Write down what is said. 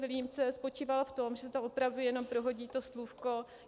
Vilímce spočíval v tom, že se tam opravdu jenom prohodí to slůvko.